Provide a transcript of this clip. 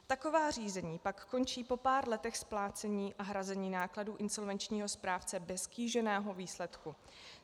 Taková řízení pak končí po pár letech splácení a hrazení nákladů insolvenčního správce bez kýženého výsledku.